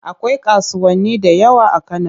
Akwai kasuwanni da yawa a Kano.